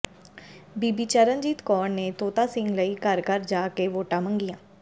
ਬੀਬੀ ਚਰਨਜੀਤ ਕੌਰ ਨੇ ਤੋਤਾ ਸਿੰਘ ਲਈ ਘਰ ਘਰ ਜਾ ਕੇ ਵੋਟਾਂ ਮੰਗੀਆਂ